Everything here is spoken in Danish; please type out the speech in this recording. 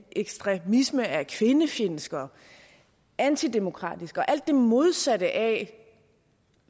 ekstremisme er kvindefjendsk og antidemokratisk og alt det modsatte af